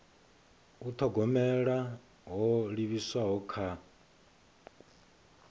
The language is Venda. u thogomela ho livhiswaho kha